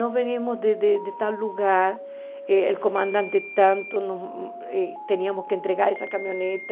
Nós viemos de de tal lugar, o comandante tanto, nós tínhamos que entregar essa caminhonete.